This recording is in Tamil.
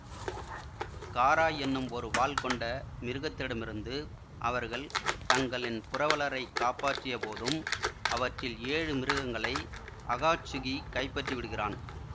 காரா என்னும் ஒரு வால் கொண்ட மிருகத்திடமிருந்து அவர்கள் தங்களின் புரவலரைக் காப்பாற்றியபோதும் அவற்றில் ஏழு மிருகங்களை அகாட்சுகி கைப்பற்றி விடுகிறான்